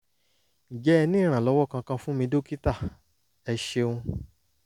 ǹjẹ́ ẹ ní ìrànlọ́wọ́ kankan fún mi dókítà? ẹ ṣeun